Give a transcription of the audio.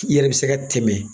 I yɛrɛ be se ka tɛmɛ